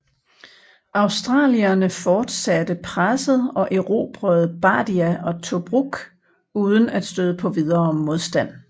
Australierne fortsatte presset og erobrede Bardia og Tobruk uden at støde på videre modstand